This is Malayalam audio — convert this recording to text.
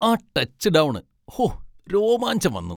ആ ടച്ച് ഡൗൺ! ഹോ, രോമാഞ്ചം വന്നു.